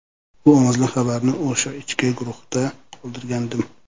Bu ovozli xabarni o‘sha ichki guruhda qoldirgandim.